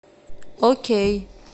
окей